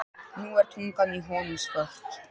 Nú er tungan í honum svört.